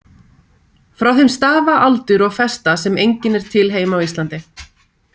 Frá þeim stafa aldur og festa sem engin er til heima á Íslandi.